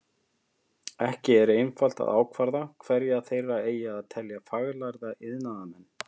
Ekki er einfalt að ákvarða hverja þeirra eigi að telja faglærða iðnaðarmenn.